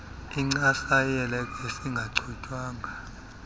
incasa yelekesi engachutywanga